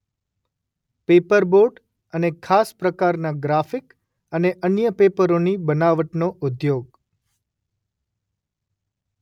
Paperboard અને ખાસ પ્રકારના ગ્રાફિક અને અન્ય પેપરોની બનાવટનો ઉદ્યોગ.